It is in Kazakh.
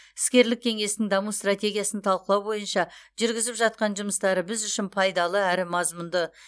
іскерлік кеңестің даму стратегиясын талқылау бойынша жүргізіп жатқан жұмыстары біз үшін пайдалы әрі мазмұнды